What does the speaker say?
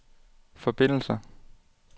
forbindelser